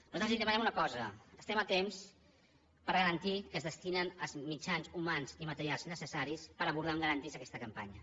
nosaltres li demanem una cosa estem a temps per garantir que es destinen els mitjans humans i materials necessaris per abordar amb garanties aquesta campanya